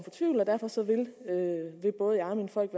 vil både jeg og mine folk